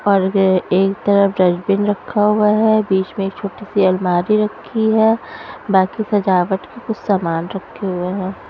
और ग एक तरफ डस्टबिन रखा हुआ है बीच में एक छोटी सी अलमारी रखी है बाकी सजावट के कुछ सामान रखे हुए हैं।